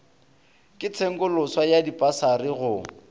ke tshenkoleswa ya dipasari go